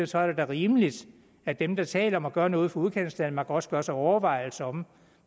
så er det da rimeligt at dem der taler om at gøre noget for udkantsdanmark også gør sig overvejelser om